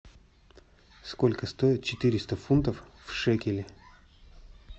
сколько стоит четыреста фунтов в шекели